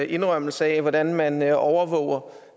indrømmelse af hvordan man overvåger